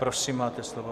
Prosím, máte slovo.